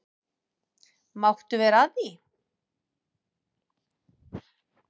Máttu vera að því?